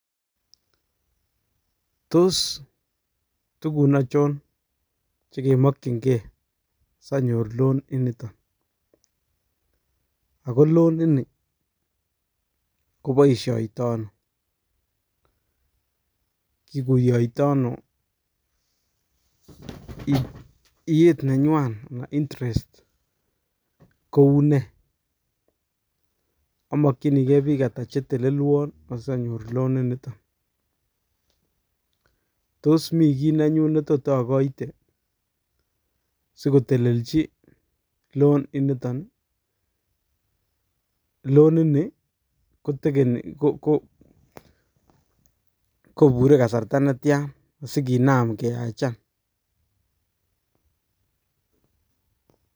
Toos tukun achon chekemokyinge sanyor loan inoton, ak ko loan inii koboishoitono, kikuyoitono iyeet nenywan anan interest koune, amakyinike biik ata chetelelwon asanyor loan inoton, toos mii kii nenyun netot okoite sikotelelchi loan inoton, loan inii kotekeni kobure kasarta netian sikinam keyachan.